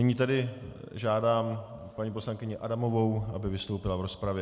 Nyní tedy žádám paní poslankyni Adamovou, aby vystoupila v rozpravě.